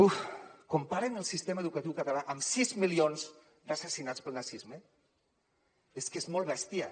uf comparen el sistema educatiu català amb sis milions d’assassinats pel nazisme és que és molt bèstia